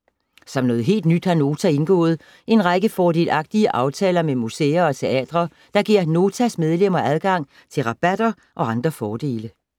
Som noget helt nyt har Nota indgået en række fordelagtige aftaler med museer og teatre, der giver Notas medlemmer adgang til rabatter og andre fordele.